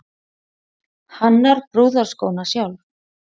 Hannar brúðarskóna sjálf